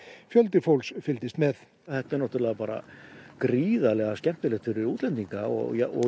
fjöldi fólks fylgdist með þetta er gríðarlega skemmtilegt fyrir útlendinga og og